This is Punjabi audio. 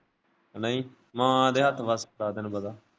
ਉਹ ਨਹੀਂ ਮਾਂ ਦੇ ਹੱਥ ਬਸ ਹੁੰਦਾ ਤੈਨੂੰ ਪਤਾ।